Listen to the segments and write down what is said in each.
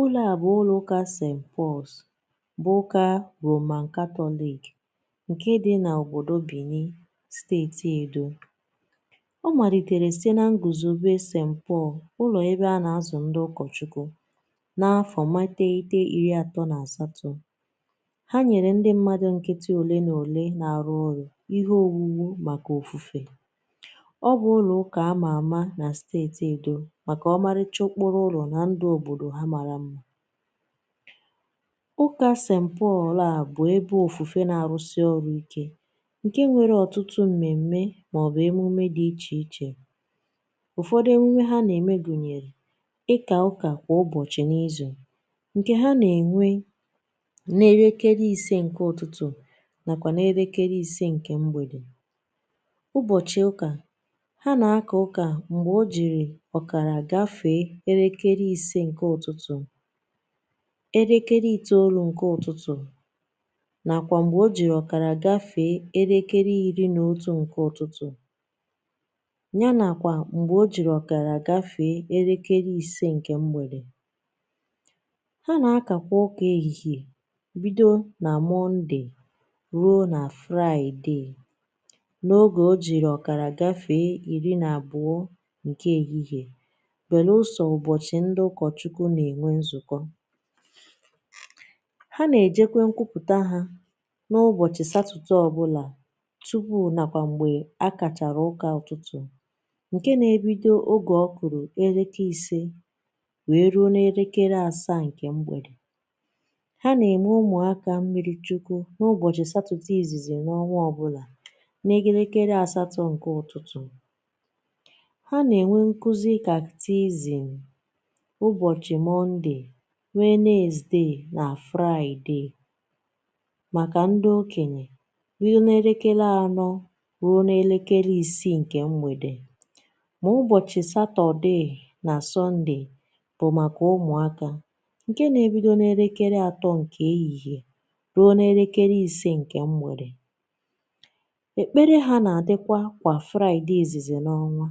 Ụlọ̀ a bụ̀ ụlọ̀ ụkà ST Pauls bụ̀ ụka Roman catholic, nke dị n’òbodò Benin, Steeti Edo. Ọ malitere site na nguzobè ST Paul, ụlọ̀ ebe a na-azụ̀ ndị ụkọchukwu na afọ̀ mateitei iri atọ̀ na asatọ̀. Ha nyere ndị mmadụ̀ nkịtị olè na olè na-arụ ọrụ̀ ihe òwuwu makà ofufe. Ọ bụ̀ ụlọ ụkà ama amà na Steeti Edo makà ọmarịcha okporo ụlọ na ndụ obodo ha mara mma. Ụka ST Paul a bụ̀ ebe ofufe na-arụsị ọrụ ikė, ǹke nwere ọtụtụ mmèmme màọbụ̀ emume dị ichè ichè. Ụfọdụ emumè ha nà-ème gụ̀nyèrè: ịkà ụkà kwà ụbọ̀chị̀ n’izù, ǹkè ha nà-ènwe na 5am nàkwà 5pm. Ụbọ̀chị̀ ụkà, ha nà-aka na 5:30am, 9:00am, 11:30am ya nàkwà 5:30pm. Ha nà-akà kwà ụkà èhihè bido nà mọndè ruo nà fraịde na 12:30pm, belụsọ ụbọchị ndị ụkọchukwu na-enwe nzukọ. Ha nà-èjekwe nkwupùta ha n’ụbọ̀chị̀ satọde ọbụlà tupuu nàkwà m̀gbè akàchàrà ụkà ụtụtụ̀, ǹkè na-ebido na 5pm wee ruo na 7pm. Ha nà-ème ụmụ̀akȧ mmiri chukwu n’ụbọ̀chị̀ satọde ìzìzì n’ọnwa ọbụlà na 8am. Ha nà-ènwe nkuzi kàktizìm ụbọchị Mọnde, Wenezdee na fraịdee, makà ndị okenyè bido na 4pm ruo na 6pm, ma ụbọchị̀ satọdee na sọnde bụ̀ makà ụmụakà nke na-ebido 3pm ruo na 5pm. Ekpere ha na-adịkwa kwà fraịdee izizi n’ọnwȧ.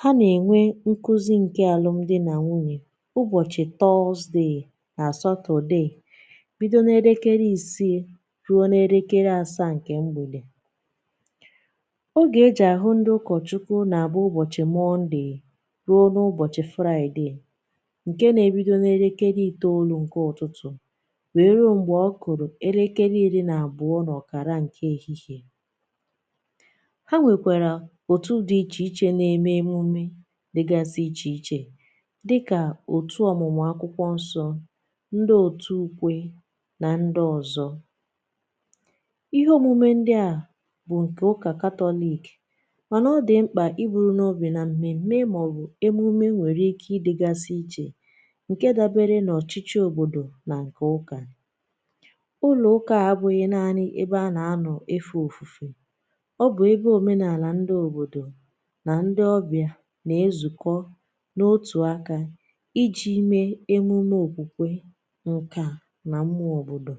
Ha na-enwe nkuzi nke alụ̀m di na nwunyè ụbọchị tọọzde na satọde bido na 6pm ruo na 7pm. Ogè e ji a hụ ndị ụkọchukwu na-abụ ụbọchị mọnde ruo n’ụbọchị fraịde, nke na-ebido na 9am wee ruo 12:30 pm. Ha nwekwara otu dị iche iche na-eme emume dịgasị iche iche dịka otu ọmụmụ akwụkwọ nsọ, ndị otù ukwe na ndị ọzọ̀. Ihe omume ndị à bụ̀ ǹkè ụkà catholic mànà ọ dị̀ mkpà i buru n’obì nà mmė mee mà ọ̀ bụ̀ emume nwèrè ike ịdịgasị ichè ǹke dabere nọ̀ ọ̀chịchọ òbòdò nà ǹkè ụkà. Ụlọ ụka à bụ̀ghị naanị ebe a nà-anọ̀ efe òfùfe, ọ bụ̀ ebe omenàlà ndị òbòdò na ndị ọbịà na-ezùkọ̀ n’otù aka, i ji mee emume okwukwe, nkà, nà m̀mụọ òbòdò.